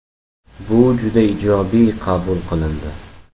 Bu juda ijobiy qabul qilindi.